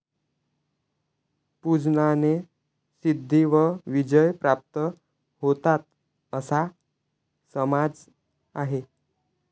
पूजनाने सिद्धी व विजय प्राप्त होतात असा समाज आहे.